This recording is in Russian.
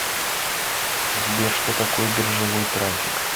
сбер что такое биржевой трафик